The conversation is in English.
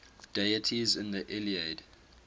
deities in the iliad